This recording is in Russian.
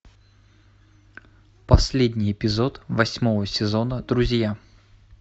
последний эпизод восьмого сезона друзья